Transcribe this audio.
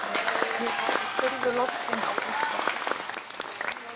Ég horfi furðu lostin á Gústa.